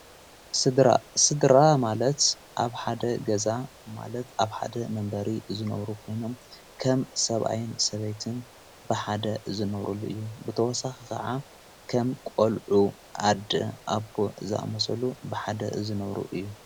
ሥድራ ማለት ኣብ ሓደ ገዛ ማለት ኣብ ሓደ መንበሪ ዝነብሩ ኾይኖም ከም ሰብኣይን ሰበይትን ብሓደ ዝነብሩሉ እዩ ብተወሳኽ ኸዓ ከም ቆልዑ ኣድ ኣቦ ዛ መሰሉ ብሓደ ዝነሩ እዩ።